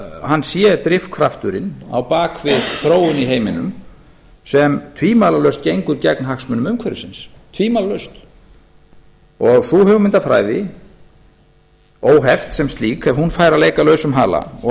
hann sé drifkrafturinn á bak við þróun í heiminum sem tvímælalaust gengur gegn hagsmunum umhverfisins tvímælalaust og ef sú hugmyndafræði óheft sem slík ef hún fær að leika lausum hala og